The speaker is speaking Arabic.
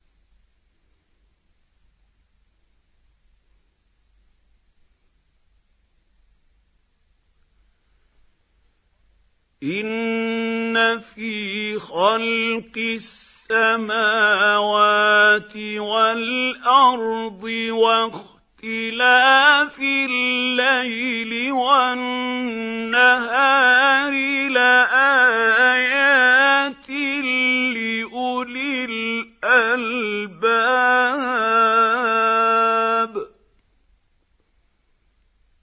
إِنَّ فِي خَلْقِ السَّمَاوَاتِ وَالْأَرْضِ وَاخْتِلَافِ اللَّيْلِ وَالنَّهَارِ لَآيَاتٍ لِّأُولِي الْأَلْبَابِ